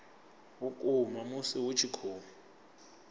vhukuma musi hu tshi khou